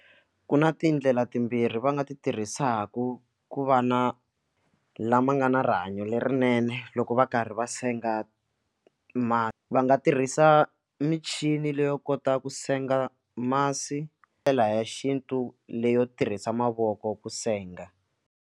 Ku na tindlela timbirhi va nga ti tirhisaka ku va na lama nga na rihanyo lerinene loko va karhi va senga ma va nga tirhisa michini leyo kota ku senga masi hi ndlela ya xintu leyo tirhisa mavoko ku senga.